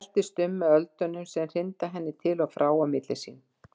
Veltist um með öldunum sem hrinda henni til og frá á milli sín.